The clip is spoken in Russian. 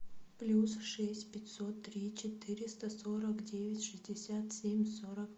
плюс шесть пятьсот три четыреста сорок девять шестьдесят семь сорок